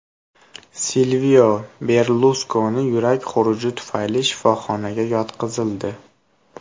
Silvio Berluskoni yurak xuruji tufayli shifoxonaga yotqizildi.